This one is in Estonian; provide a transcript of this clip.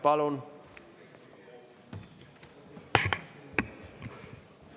Palun!